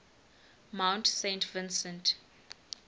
mount saint vincent